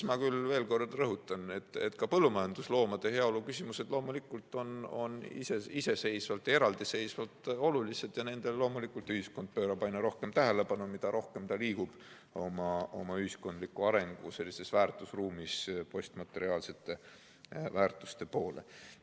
Ma veel kord rõhutan, et ka põllumajandusloomade heaolu küsimused loomulikult on iseseisvalt ja eraldiseisvalt olulised ning nendele ühiskond pöörab aina rohkem tähelepanu, mida rohkem me liigume oma ühiskonna arengu väärtusruumis postmateriaalsete väärtuste poole.